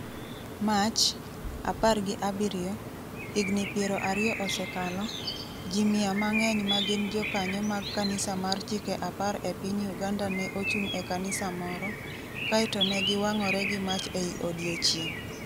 Mach, 17, higni 20 osekalo, ji mia mang’eny ma gin jokanyo mag kanisa mar Chike Apar e piny Uganda ne ochung’ e kanisa moro, kae to ne giwang’ore gi mach ei odiechieng’.